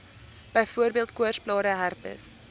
byvoorbeeld koorsblare herpes